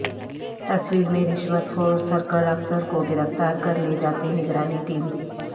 تصویر میں رشوت خور سرکل افسر کو گرفتار کر لے جاتے نگرانی ٹیم